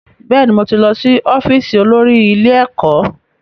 Bẹ́ẹ̀ni, mo ti lọ́ sí ọ́fíìsì olórí ilé ẹ̀kọ́